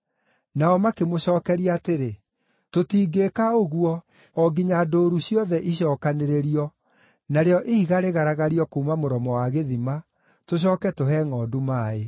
Nao makĩmũcookeria atĩrĩ, “Tũtingĩĩka ũguo o nginya ndũũru ciothe icookanĩrĩrio, narĩo ihiga rĩgaragario kuuma mũromo wa gĩthima, tũcooke tũhe ngʼondu maaĩ.”